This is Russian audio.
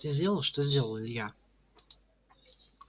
ты сделал что сделал илья